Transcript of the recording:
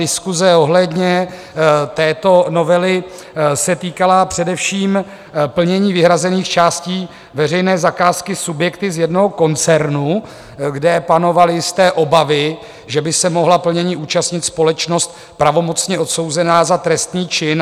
Diskuse ohledně této novely se týkala především plnění vyhrazených částí veřejné zakázky subjekty z jednoho koncernu, kde panovaly jisté obavy, že by se mohla plnění účastnit společnost pravomocně odsouzená za trestný čin.